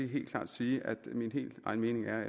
helt klart sige at min helt egen mening er